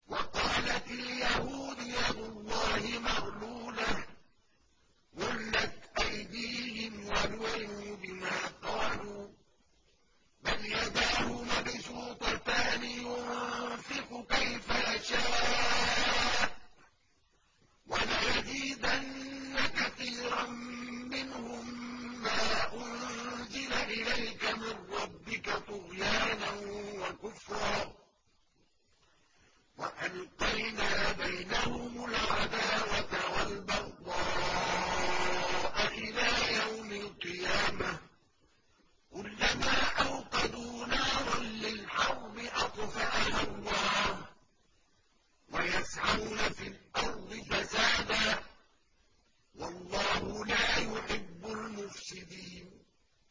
وَقَالَتِ الْيَهُودُ يَدُ اللَّهِ مَغْلُولَةٌ ۚ غُلَّتْ أَيْدِيهِمْ وَلُعِنُوا بِمَا قَالُوا ۘ بَلْ يَدَاهُ مَبْسُوطَتَانِ يُنفِقُ كَيْفَ يَشَاءُ ۚ وَلَيَزِيدَنَّ كَثِيرًا مِّنْهُم مَّا أُنزِلَ إِلَيْكَ مِن رَّبِّكَ طُغْيَانًا وَكُفْرًا ۚ وَأَلْقَيْنَا بَيْنَهُمُ الْعَدَاوَةَ وَالْبَغْضَاءَ إِلَىٰ يَوْمِ الْقِيَامَةِ ۚ كُلَّمَا أَوْقَدُوا نَارًا لِّلْحَرْبِ أَطْفَأَهَا اللَّهُ ۚ وَيَسْعَوْنَ فِي الْأَرْضِ فَسَادًا ۚ وَاللَّهُ لَا يُحِبُّ الْمُفْسِدِينَ